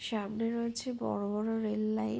সামনে রয়েছে বড়ো বড়ো রেল লাইন |